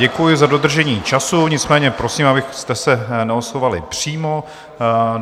Děkuji za dodržení času, nicméně prosím, abyste se neoslovovali přímo.